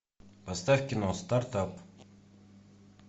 поставь кино стартап